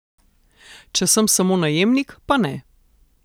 Če sem samo najemnik, pa ne.